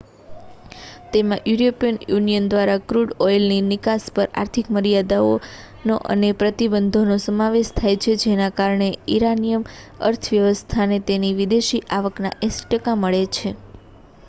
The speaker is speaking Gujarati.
તેમાં યુરોપિયન યુનિયન દ્વારા ક્રૂડ ઑઇલની નિકાસ પર આર્થિક મર્યાદાઓનો અને પ્રતિબંધનો સમાવેશ થાય છે જેના કારણે ઇરાનિયન અર્થવ્યવસ્થાને તેની વિદેશી આવકના 80% મળે છે